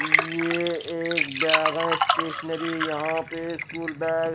ये एक bag uh stationery यहाँ पे स्कूल बैग --